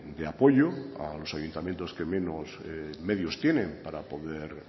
de apoyo a los ayuntamientos que menos medios tienen para poder